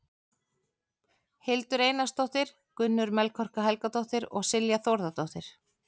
Hildur Einarsdóttir, Gunnur Melkorka Helgadóttir og Silja Þórðardóttir.